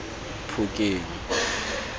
phokeng